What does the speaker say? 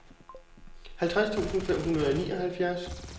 halvtreds tusind fem hundrede og nioghalvfjerds